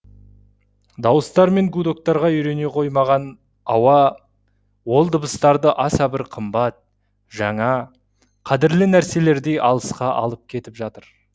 дауыстар мен гудоктарға үйрене қоймаған ауа ол дыбыстарды аса бір қымбат жаңа қадірлі нәрселердей алысқа алып кетіп жатыр